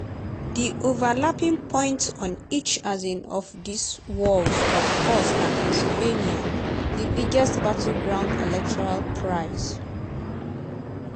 di overlapping point on each um of dis walls of course na pennsylvania - di biggest battleground electoral prize.